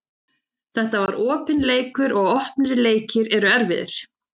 Þetta var opinn leikur og opnir leikir eru erfiðir.